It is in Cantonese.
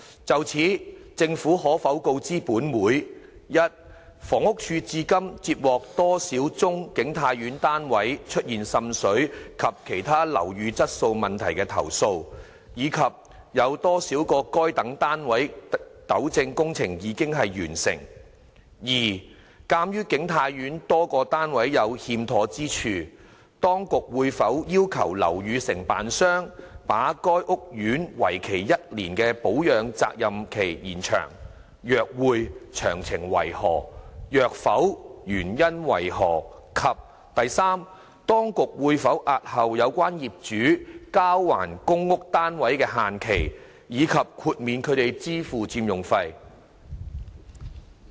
就此，政府可否告知本會：一房屋署至今接獲多少宗景泰苑的單位出現滲水及其他樓宇質素問題的投訴，以及有多少個該等單位的糾正工程已完成；二鑒於景泰苑多個單位有欠妥之處，當局會否要求樓宇承建商把該屋苑為期1年的保養責任期延長；若會，詳情為何；若否，原因為何；及三當局會否押後有關業主交還公屋單位的限期，以及豁免他們支付佔用費？